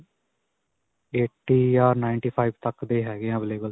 eighty ਜਾਂ ninty five ਤੱਕ ਦੇ ਹੈਗੇ ਹੈ available.